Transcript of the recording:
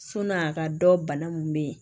Sɔni a ka dɔn bana mun be yen